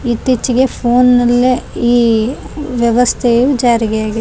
ಇತ್ತೀಚಿಗೆ ಫೋನ್ ನಲ್ಲೆ ಈ ವ್ಯವಸ್ಥೆಯು ಜಾರಿಗೆಯಾಗಿದೆ .